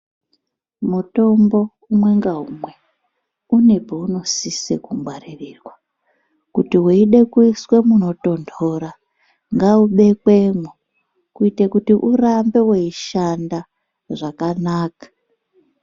Mutombo umwe ngaumwe une paunosisa kungwaririrwa. Kuti weide kuiswe munotonhora, ngaubekwemwo kuite kuti urambe weishanda zvakanaka.